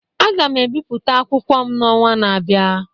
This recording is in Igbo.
Aga m ebipụta akwụkwọ m n'ọnwa na-abịa